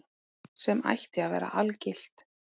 Sem ætti að vera algilt.